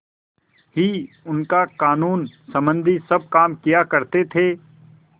ही उनका कानूनसम्बन्धी सब काम किया करते थे